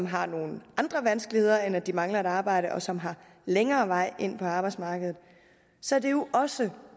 har nogle andre vanskeligheder end at de mangler et arbejde og som har længere vej ind på arbejdsmarkedet så er det jo også